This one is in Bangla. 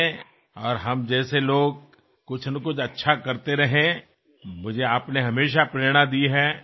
আমার মত লোকেরা সবসময়েই কোনো না কোনো ভালো কাজে নিয়োজিত থাকুক এই প্রেরণা আপনি সবসময় দিয়েছেন